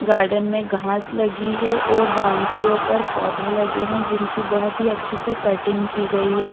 garden में घास लगी हुई है और बाउनद्रियों पर पौधे लगे हुए हैं जिनकी बहुत अच्छे से कटिंग --